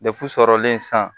sɔrɔlen san